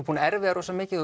búinn að erfiða rosalega mikið